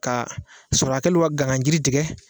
Ka sɔrɔlakɛlu ka gana jiri tigɛ.